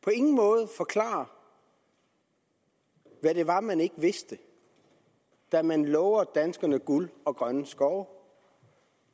på ingen måde forklarer hvad det var man ikke vidste da man lovede danskerne guld og grønne skove